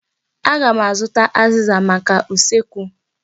Aga m azụta azịza maka usekwu.